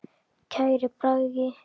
Kæri Bragi.